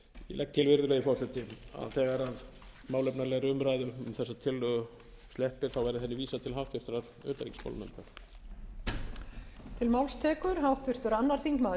ég legg til virðulegi forseti að þegar málefnalegri umræðu um þessa tillögu sleppir verði henni vísað til háttvirtrar utanríkismálanefndar